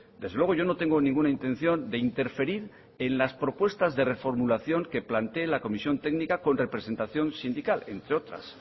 desde luego yo no tengo ninguna intención de interferir en las propuestas de reformulación que plantee la comisión técnica con representación sindical entre otras